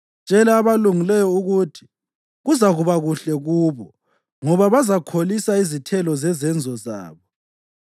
Tshela abalungileyo ukuthi kuzakuba kuhle kubo, ngoba bazakholisa izithelo zezenzo zabo.